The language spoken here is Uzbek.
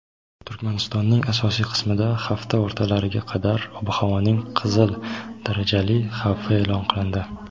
Turkmanistonning asosiy qismida hafta o‘rtalariga qadar ob-havoning "qizil darajali" xavfi e’lon qilindi.